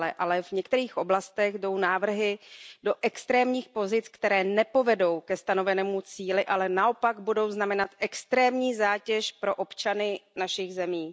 Ale v některých oblastech jdou návrhy do extrémních pozic, které nepovedou ke stanovenému cíli, ale naopak budou znamenat extrémní zátěž pro občany našich zemí.